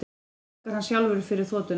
Og borgar hann sjálfur fyrir þotuna